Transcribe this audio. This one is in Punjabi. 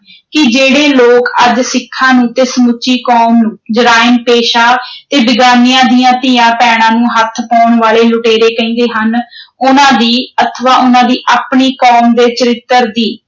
ਕਿ ਜਿਹੜੇ ਲੋਕ ਅੱਜ ਸਿੱਖਾਂ ਨੂੰ ਤੇ ਸਮੁੱਚੀ ਕੌਮ ਨੂੰ ਜਰਾਇਮ ਪੇਸ਼ਾ ਦੀਆਂ ਧੀਆਂ ਭੈਣਾਂ ਨੂੰ ਹੱਥ ਪਾਉਣ ਵਾਲੇ ਲੁਟੇਰੇ ਕਹਿੰਦੇ ਹਨ ਉਨ੍ਹਾਂ ਦੀ ਅਥਵਾ ਉਨ੍ਹਾਂ ਦੀ ਆਪਣੀ ਕੌਮ ਦੇ ਚਰਿੱਤਰ ਦੀ